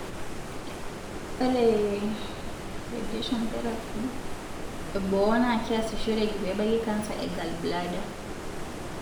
ore ration therapy eboo na kiasishoreki pebaki canser e gallbladder.